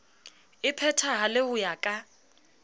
e phethahale ho ya ka